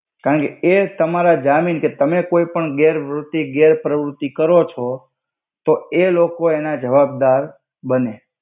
કન્કે એ તમારા જામિન કે તમે કોઇ ગેર વ્રુતિ ગેર પ્રવ્રુતિ કરો છો તો એ લોકો એના જવાબ્દાર બને.